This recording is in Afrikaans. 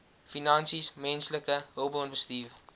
finansies menslike hulpbronbestuur